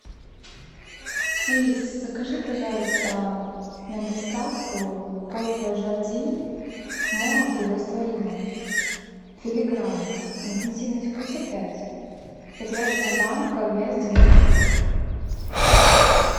алис закажи пожалуйста на доставку кофе жардин молотый в растворимом филигранно интенсивность вкуса пять прозрачная банка вес девяносто пять грамм